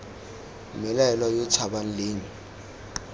mmelaelwa yo o tshabang leng